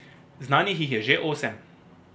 Znanih jih je že osem.